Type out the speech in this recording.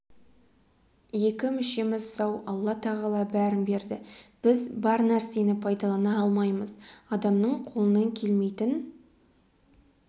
екі мүшеміз сау алла тағала бәрін берді біз бар нәрсені пайдалана алмаймыз адамның қолынан келмейтін